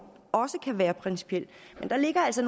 også kan være principiel men der ligger altså